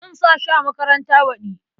Zan sa shi a makaranta baɗi.